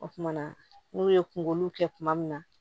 O kumana n'u ye kungolo kɛ kuma min na